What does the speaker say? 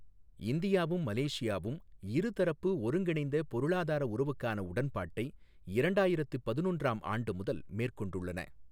இந்தியாவும் மலேசியாவும் இரு தரப்பு ஒருங்கிணைந்த பொருளாதார உறவுக்கான உடன்பாட்டை இரண்டாயிரத்து பதினொன்றாம் ஆண்டு முதல் மேற்கொண்டுள்ளன.